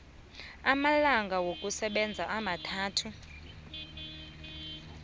amalanga wokusebenza amathathu